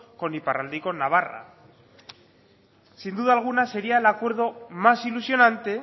con iparralde y con navarra sin duda alguna sería el acuerdo más ilusionante